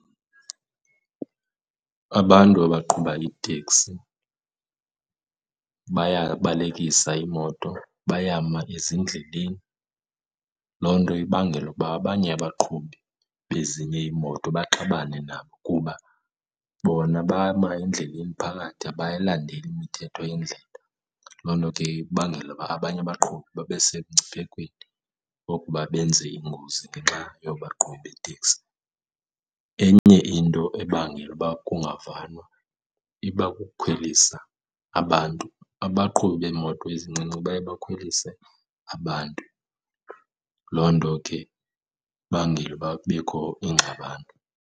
Abantu abaqhuba iiteksi bayabalekisa iimoto, bayama ezindleleni, loo nto ibangela ukuba abanye abaqhubi bezinye iimoto baxabane nabo kuba bona bama endleleni phakathi abayilandeli imithetho yendlela. Loo nto ke ibangela uba abanye abaqhubi babe semngciphekweni wokuba benze iingozi ngenxa yabaqhubi beeteksi. Enye into ebangela uba kungavanwa iba kukukhwelisa abantu, abaqhubi beemoto ezincinci baye bakhwelise abantu. Loo nto ke ibangela ukuba kubekho ingxabano.